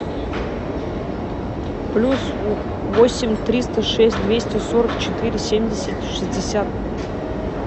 плюс восемь триста шесть двести сорок четыре семьдесят шестьдесят